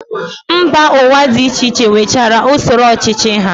Mba Ụwa dị iche iche nwechara usoro ọchịchị ha